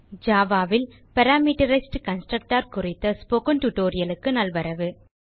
Java ல் parameterized constructor குறித்த spoken tutorial க்கு நல்வரவு